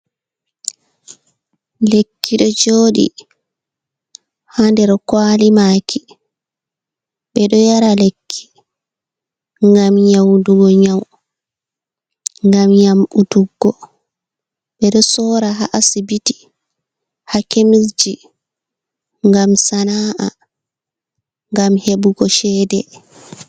Lekki ɗo jooɗii haa nder kwali maaki, ɓe ɗo yara lekki ngam nyaudugo nyau, ngam yamutuggo ɓeɗo soora haa Asibiti, haa kemis ji, ngam sana’a ngam hebugo chede.